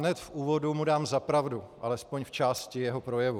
Hned v úvodu mu dám za pravdu alespoň v části jeho projevu.